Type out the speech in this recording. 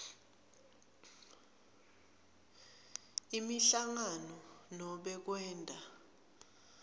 imihlangano nobe kwenta